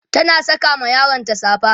tana Saka ma yaronta safa